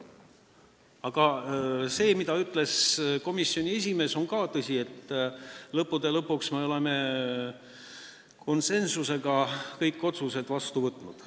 Aga see, mida ütles komisjoni esimees, on ka tõsi: lõppude lõpuks me oleme kõik otsused konsensuslikult vastu võtnud.